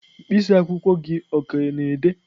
mkpịsị akwụkwọ gị ọ ka na-ede?